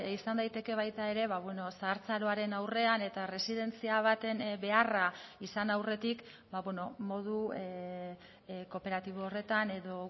izan daiteke baita ere zahartzaroaren aurrean eta erresidentzia baten beharra izan aurretik modu kooperatibo horretan edo